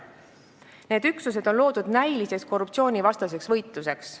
Need üksused on loodud näiliseks korruptsioonivastaseks võitluseks.